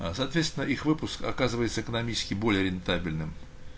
а соответственно их выпуск оказывается экономически более рентабельным